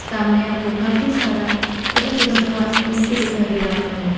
सामने हमको काफी सारा छोटा छोटा घास फूस भी दिखाई दे रहा है।